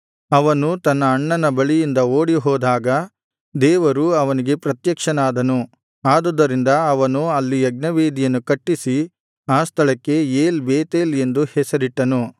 ಅವನು ತನ್ನ ಅಣ್ಣನ ಬಳಿಯಿಂದ ಓಡಿಹೋದಾಗ ದೇವರು ಅವನಿಗೆ ಪ್ರತ್ಯಕ್ಷನಾದನು ಅದುದರಿಂದ ಅವನು ಅಲ್ಲಿ ಯಜ್ಞವೇದಿಯನ್ನು ಕಟ್ಟಿಸಿ ಆ ಸ್ಥಳಕ್ಕೆ ಏಲ್ ಬೇತೇಲ್ ಎಂದು ಹೆಸರಿಟ್ಟನು